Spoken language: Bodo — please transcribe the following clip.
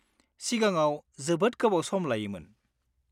सिगाङाव, जोबोद गोबाव सम लायोमोन।